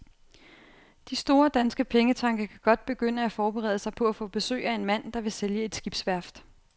De store danske pengetanke kan godt begynde at forberede sig på at få besøg af en mand, der vil sælge et skibsværft.